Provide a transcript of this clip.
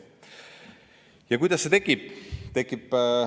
Ja kuidas see tekib?